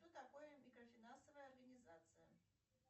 что такое микрофинансовая организация